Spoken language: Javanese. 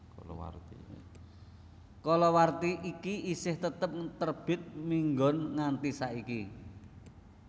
Kalawarti iki isih tetep terbit minggon nganti saiki